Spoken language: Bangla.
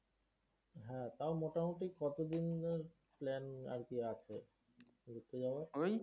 হ্যাঁ, তাও মোটামুটি কতদিনের plan আরকি আছে ঘুরতে যাওয়ার?